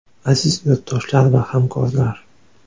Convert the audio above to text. Aziz yurtdoshlar va hamkorlar!